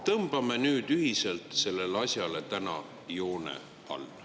Tõmbame nüüd ühiselt sellele asjale täna joone alla.